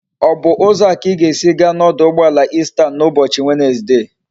O bu uzo a ka i ga esi gaa na oduugboala Eastern na ubochi Wednesday?